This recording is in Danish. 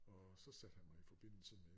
Og så satte han mig i forbindelse med